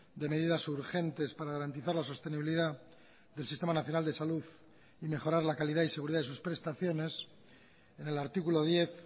de medidas urgentes para garantizar la sostenibilidad del sistema nacional de salud y mejorar la calidad y seguridad de sus prestaciones en el artículo diez